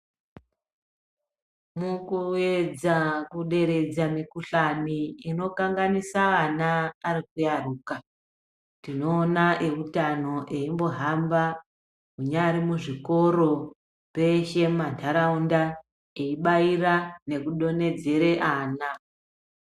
Mukuedza kuderedza mikuhlane inokanganisa ana ari kuyaruka, tinoona eutano eyimbohamba munyari muzvikoro, peshe mumantaraunda eibaira nekudonhedzere ana.